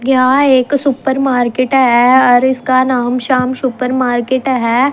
यहाँ एक supermarket ह अर इसका नाम श्याम सुपर मार्केट ह।